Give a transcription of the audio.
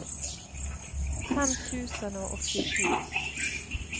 fem tusen og åttisju